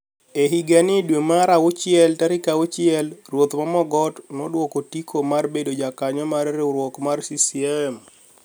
E higa ni dwe mar auchiel tarik auchiel ruoth Mogoti noduoko otiko mar bedo jakanyoo mar riwruok mar CCM.